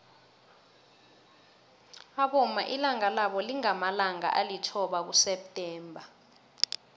abomma ilanga labo lingamalanga alithoba kuseptember